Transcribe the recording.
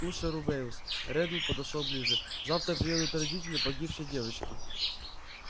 слушай рубеус реддл подошёл ближе завтра приедут родители погибшей девочки